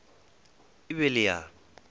e be e le ya